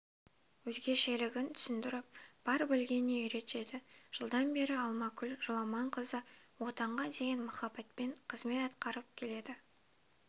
өзгешелігін түсіндіріп бар білгеніне үйретеді жылдан бері алмагүл жоламанқызы отанға деген махаббатпен қызмет атқарып келеді